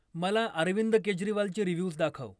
मला अरविंद केजरीवालचे रिव्ह्यूज दाखव